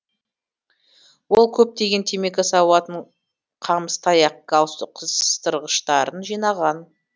ол көптеген темекі сауытын қамыс таяқ галстук қыстырғыштарын жинаған